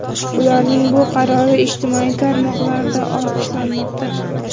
Ularning bu qarori ijtimoiy tarmoqlarda olqishlanmoqda.